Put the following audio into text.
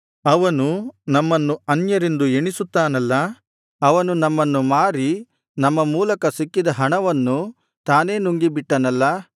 ಅವನು ನಮ್ಮನ್ನು ಅನ್ಯರೆಂದು ಎಣಿಸುತ್ತಾನಲ್ಲಾ ಅವನು ನಮ್ಮನ್ನು ಮಾರಿ ನಮ್ಮ ಮೂಲಕ ಸಿಕ್ಕಿದ ಹಣವನ್ನು ತಾನೇ ನುಂಗಿಬಿಟ್ಟನಲ್ಲಾ